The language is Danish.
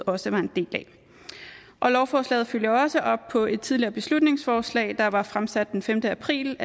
også var en del af og lovforslaget følger også op på et tidligere beslutningsforslag der var fremsat den femte april